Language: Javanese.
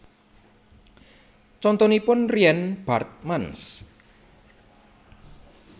Contonipun Rien Baartmans